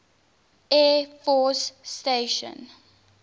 air force station